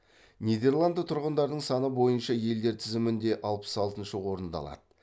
нидерланды тұрғындарының саны бойынша елдер тізімінде алпыс алтыншы орынды алады